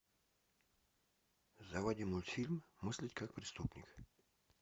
заводи мультфильм мыслить как преступник